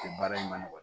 Baara in man nɔgɔ